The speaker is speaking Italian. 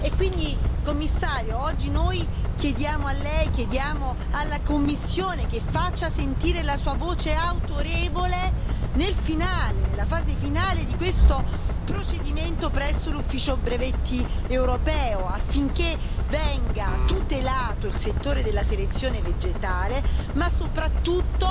Quindi, Commissario, oggi noi chiediamo a Lei, chiediamo alla Commissione, che faccia sentire la sua voce autorevole nella fase finale di questo procedimento presso l'Ufficio europeo dei brevetti, affinché venga tutelato il settore della selezione vegetale ma soprattutto